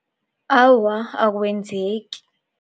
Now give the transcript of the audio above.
Awa, akwenzeki.